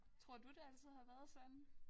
Tror du det altid har været sådan?